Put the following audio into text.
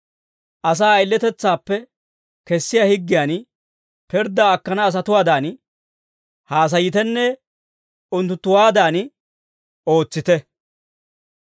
Asaa ayiletetsaappe kessiyaa higgiyan, pirddaa akkana asatuwaadan haasayitenne unttunttuwaadan ootsite.